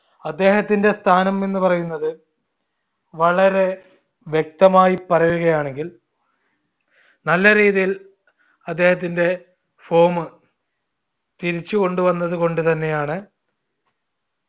അദ്ദേഹത്തിന്റെ സ്ഥാനം എന്ന് പറയുന്നത് വളരെ വ്യക്തമായി പറയുകയാണെങ്കിൽ നല്ല രീതിയിൽ അദ്ദേഹത്തിന്റെ form തിരിച്ചുകൊണ്ടുവന്നത് കൊണ്ടുതന്നെയാണ്